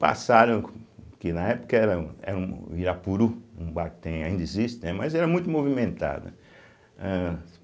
Passaram, que na época era um era um o Irapuru, um bar que tem, ainda existe, né, mas era muito movimentado, né. ehh